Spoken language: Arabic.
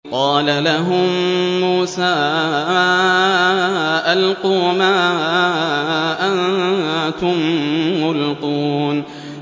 قَالَ لَهُم مُّوسَىٰ أَلْقُوا مَا أَنتُم مُّلْقُونَ